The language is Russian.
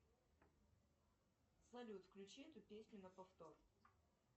салют включи эту песню на повтор